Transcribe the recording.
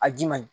A ji man ɲi